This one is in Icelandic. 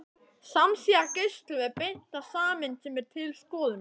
Samsíða geislum er beint að sameind sem er til skoðunar.